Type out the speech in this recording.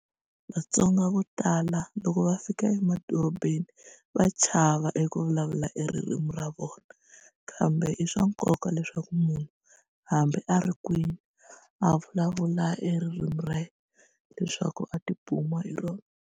Vatsonga vo tala loko va fika emadorobeni va chava eku vulavula eririmi ra vona kambe i swa nkoka leswaku munhu hambi a ri kwini a vulavula eririmi ra yena leswaku a ti buma hi rona.